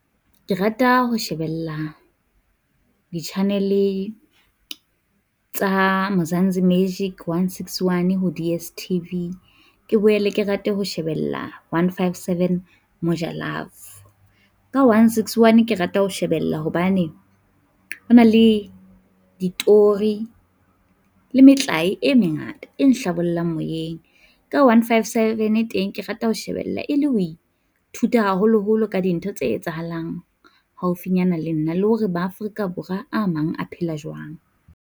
Ke rata ho shebella di-channel tsa Mzansi Magic 161, ho DStv. Ke boele ke rate ho shebella 157 Moja Love. Ka 161 ke rata ho shebella hobane ho na le ditori le metlae e mengata e nhlabollang moyeng ka 157 teng ke rata ho shebella e le ho ithuta haholoholo ka dintho tse etsahalang haufinyana le nna le hore ba Afrika Borwa a mang a phela jwang.